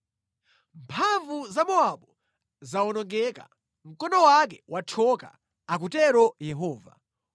Mphamvu za Mowabu zawonongeka; mkono wake wathyoka,” akutero Yehova.